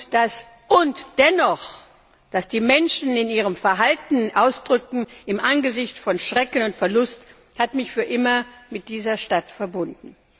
Das, was die Menschen in ihrem Verhalten ausdrückten, im Angesicht von Schrecken und Verlust, hat mich für immer mit dieser Stadt verbunden.